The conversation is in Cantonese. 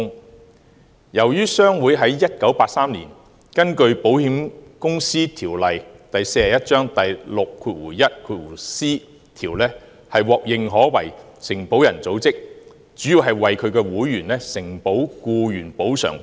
由於印刷業商會在1983年根據《保險業條例》第 61c 條獲認可為承保人組織，主要是為其會員承保僱員補償保險。